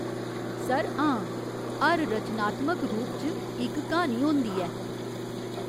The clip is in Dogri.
सर, हां। हर रचनात्मक रूप च इक क्हानी होंदी ऐ।